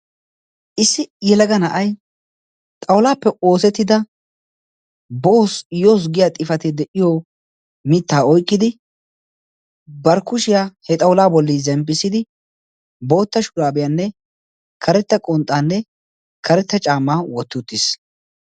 issi yelaga na7ai xaulaappe oosettida boo yos giya xifatee de7iyo mittaa oiqqidi bar kushiyaa he xaulaa bolli zemppissidi bootta shuraabiyaanne karetta qonxxaanne karetta caamaa wotti uttiis